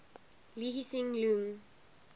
lee hsien loong